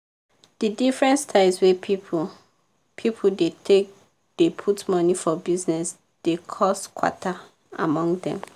di different styles wey people people dey take dey put money for bizness dey cos kwata among dem.